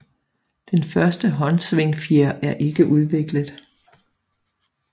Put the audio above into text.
Den første håndsvingfjer er ikke udviklet